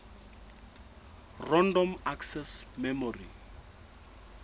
random access memory